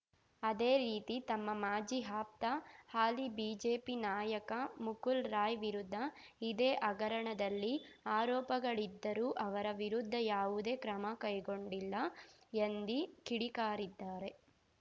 ಅದೇ ರೀತಿ ತಮ್ಮ ಮಾಜಿ ಆಪ್ತ ಹಾಲಿ ಬಿಜೆಪಿ ನಾಯಕ ಮುಕುಲ್‌ ರಾಯ್‌ ವಿರುದ್ದ ಇದೇ ಹಗರಣದಲ್ಲಿ ಆರೋಪಗಳಿದ್ದರೂ ಅವರ ವಿರುದ್ಧ ಯಾವುದೇ ಕ್ರಮ ಕೈಗೊಂಡಿಲ್ಲ ಎಂದಿ ಕಿಡಿಕಾರಿದ್ದಾರೆ